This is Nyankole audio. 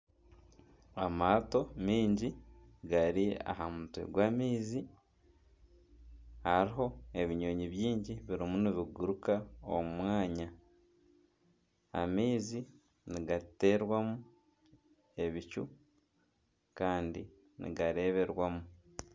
Amaato mingi gari aha mutwe gw'amaizi, hariho nebinyonyi biingi birimu nibiguruka omu mwanya. Amaizi nigaterwamu ebicu Kandi nigareberwamu.